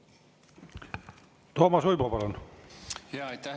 Toomas Uibo, palun!